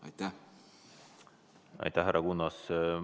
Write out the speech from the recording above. Aitäh, härra Kunnas!